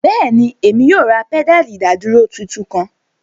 Bẹẹni, Emi yoo ra pedali idaduro titun kan